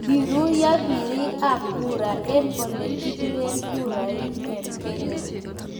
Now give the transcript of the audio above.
Koruiyo birik ab kura eng ole kibire kura ing Kenya